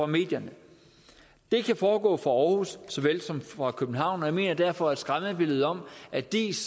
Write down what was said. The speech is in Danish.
medierne det kan foregå fra aarhus så vel som fra københavn og jeg mener derfor at skræmmebilledet om at diis